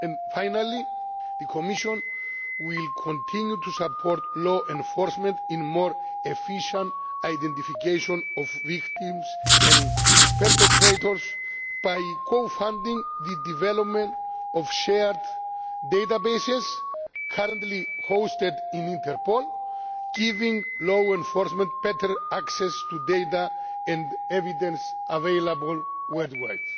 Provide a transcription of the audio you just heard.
Finally, the Commission will continue to support law enforcement in more efficient identification of victims and perpetrators by co funding the development of shared databases, currently hosted in Interpol, giving law enforcement better access to data and evidence available worldwide.